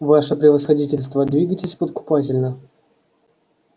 ваше превосходительство двигайтесь подкупательно